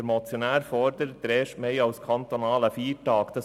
Der Motionär fordert, der Erste Mai sei zum kantonalen Feiertag zu erklären.